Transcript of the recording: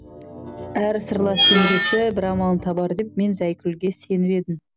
әрі сырлас жеңгесі бір амалын табар деп мен зәйкүлге сеніп едім